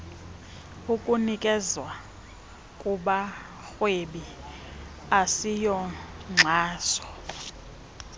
ukunikezwa kubarhwebi asiyonkxaso